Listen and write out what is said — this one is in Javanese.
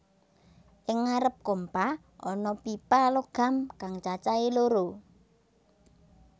Ing ngarep kompa ana pipa logam kang cacahé loro